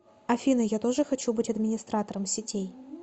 афина я тоже хочу быть администратором сетей